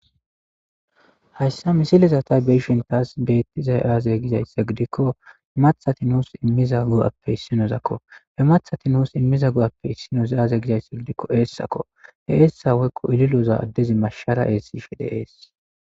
Hayssa misileza tay beyshin taas beettizay aazey gizaysse gidikko hemathati nuus immiza gu7appe issinozakko he mathati nuus immiza gu7appe issinos aaze gizaysse gidikko eessakko he eessa woykko ililoza addezi mashshara eessi shede ees